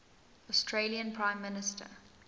australian prime minister